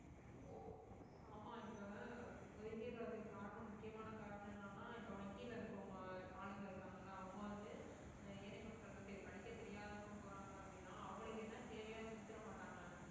ஆமா இப்ப ஒதுங்கிடறதுக்கு காரணம் முக்கியமான காரணம் என்னன்னா இப்ப வங்கியில இருக்கவங்க ஆளுங்க இருக்காங்கல்ல அவங்க வந்து ஏழை மக்களுக்கு படிக்கத் தெரியாதவங்க போறாங்க அப்படின்னா அவங்களுக்கு என்ன தேவையோ அதை செஞ்சு தர மாட்டாங்க